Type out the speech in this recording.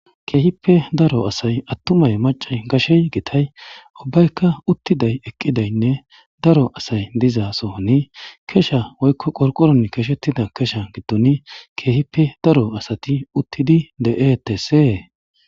Keehippe daro asay attumay maccay gashey gitay uvubbaykka utidaynne eqqiday daro asay dizaasoni kesha woykko qorqoron keshettida kesha giddon keehippe daro asati uttidi de7eetesse